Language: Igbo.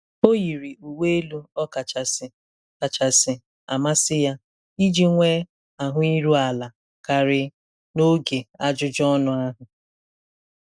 Ọ yiri uwe elu ọ kachasị kachasị amasị ya iji nwee ahụ iru ala karị n'oge ajụjụ ọnụ ahụ.